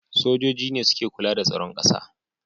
Sojoji ne suke kula da tsaron ƙasa